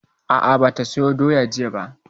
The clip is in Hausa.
A'a, ba ta soya doya jiya ba